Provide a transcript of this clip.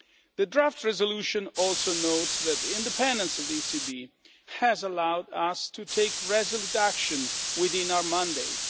The draft resolution also notes that the independence of the ECB has allowed us to take resolute action within our mandate.